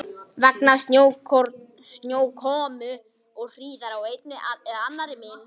Vegna snjókomu og hríðar í einni eða annarri mynd.